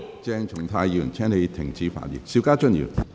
鄭松泰議員，請你停止發言。